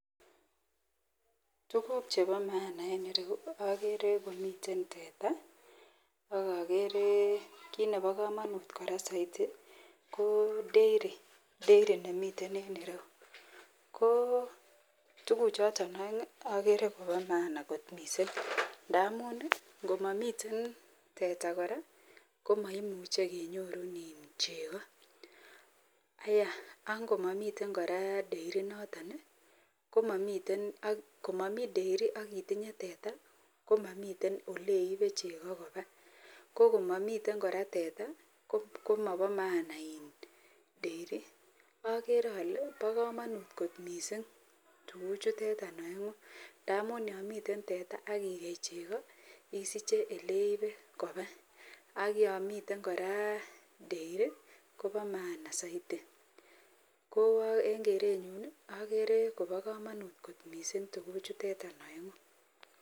Tuguk Cheba maana en ireyu agere komiten teta agere kit Nebo kamanut saiti ko dairy nemiten en ireyu ko tuguk choton aeng' agere Koba maana kot mising' amun komamiten teta koraa komaimuche kenyorun cheko angomamiten koraa dairy inoton akotinye teta komamiten oleibe cheko Koba komamiten teta komaba maana dairy agere ale ba kamanut kot mising' tuguk chuteton aengu ndamun yamiten teta akigei cheko isiche oleibe koba akyamiten koraa dairy Koba maana saiti ko en kerenyun agere Koba kamanut kot mising' tuguk chuteton aengu